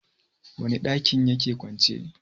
wane dakin ya ke kwance?